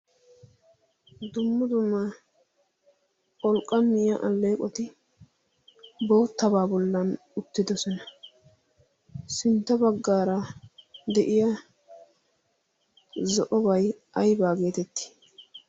Dumma dumma pholqqamiyaa aleeqoti boottaba boli uttidoosona. sintta baggara de'iyaa zo'obay aybba getetti?